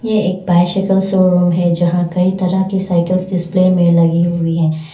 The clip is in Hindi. ये एक बायसाइकिल शोरूम है जहां कई तरह के साइकल्स डिस्प्ले में लगी हुई है।